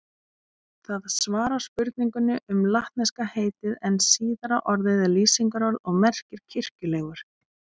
Það svarar spurningunni um latneska heitið en síðara orðið er lýsingarorð og merkir kirkjulegur.